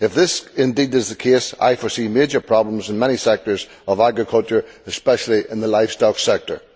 If this is indeed the case, I foresee major problems in many sectors of agriculture, and especially in the livestock sector.